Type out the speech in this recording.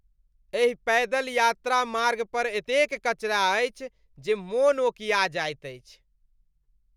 एहि पैदल यात्रा मार्गपर एतेक कचरा अछि जे मोन ओकिया जाइत अछि।